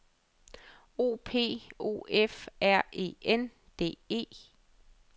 O P O F R E N D E